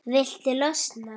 Viltu losna-?